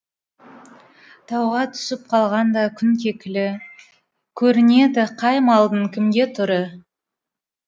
тауға түсіп қалғанда күн кекілі көрінеді қай малдың кімге түрі